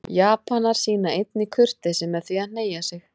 Japanar sýna einnig kurteisi með því að hneigja sig.